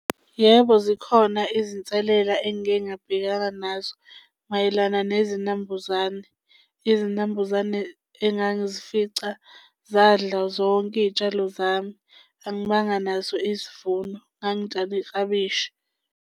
Yebo, zikhona izinselela engike ngabhekana nazo mayelana nezinambuzane. Izinambuzane engangizifica zadla zonke iy'tshalo zami. Angibanga nazo izivuno, ngangitshale iklabishi.